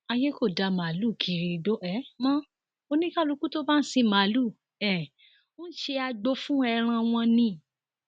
àyè kò dá màálùú kiri igbó um mọ oníkálukú tó bá ń sin màálùú um ń ṣe agbo fún ẹran wọn ni